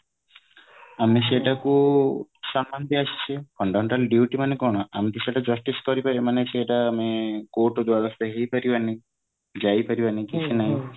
ଆମେ ସେଇଟା କୁ ସମାନ୍ନ ଦେଇ ଆସିଚେ fundamental duty ମାନେ କଣ ଆମେ ତ ସେଇଟା justice କରି ପାରିବାନି ମାନେ ସେଟା ମାନେ court ଦ୍ଵାରସ୍ଥ ହେଇ ପାରିବାନି ଯାଇ ପାରିବାନି କି ସେମାନେ